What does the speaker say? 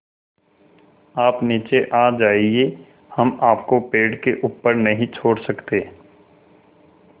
आप नीचे आ जाइये हम आपको पेड़ के ऊपर नहीं छोड़ सकते